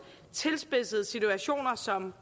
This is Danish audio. tilspidsede situationer som